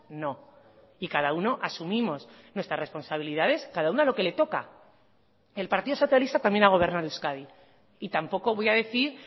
no y cada uno asumimos nuestra responsabilidades cada uno lo que le toca el partido socialista también ha gobernado euskadi y tampoco voy a decir